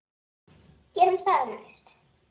Gerum það næst.